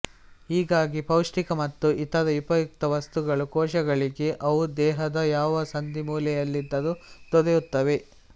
ಹೀಗಾಗಿ ಪೌಷ್ಟಿಕ ಮತ್ತು ಇತರ ಉಪಯುಕ್ತ ವಸ್ತುಗಳು ಕೋಶಗಳಿಗೆ ಅವು ದೇಹದ ಯಾವ ಸಂದಿಮೂಲೆಯಲ್ಲಿದ್ದರೂ ದೊರೆಯುತ್ತವೆ